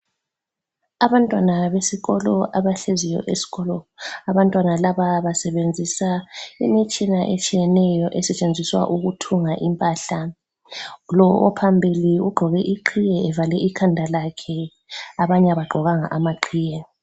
Abantwana besikolo abahleziyo eskolo abantwana laba basebenzisa imitshina etshiyeneyo esetshenziswa ukuthunga impahla. Lo ophambili ugqoke iqhiye evale ikhanda lakhe abanye abagqokanga amaqhiye.